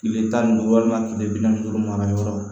Kile tan ni duuru walima kile bi naani ni duuru mara yɔrɔ